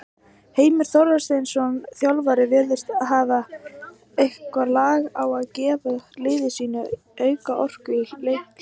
Heimir Þorsteinsson, þjálfari virðist hafa eitthvað lag á gefa liði sínu auka orku í leikhléi.